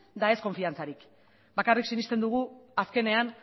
eta ez konfiantzarik bakarrik sinesten dugu azkenean